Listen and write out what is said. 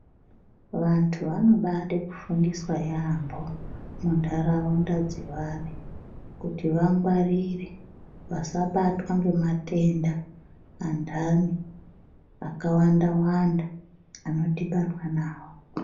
Vantu vanobade kufundiswa yaambo mundaraunda dzevari kuti vasabatwe ngamatenda andani akawanda wanda anodhibanwa nawo.